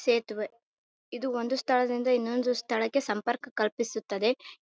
ಸೇತುವೆ ಇದು ಒಂದು ಸ್ಥಳದಿಂದ ಇನ್ನೊಂದು ಸ್ಥಳಕ್ಕೆ ಸಂಪರ್ಕ ಕಲ್ಪಿಸುತ್ತವೆ.